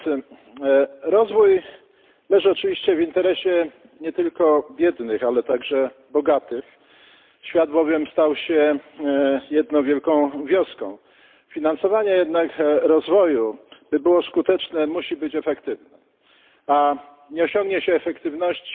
Panie Przewodniczący! Rozwój leży oczywiście w interesie nie tylko biednych, ale także bogatych. Świat bowiem stał się jedną wielką wioską. Finansowanie jednak rozwoju by było skuteczne, musi być efektywne, a nie osiągnie się efektywności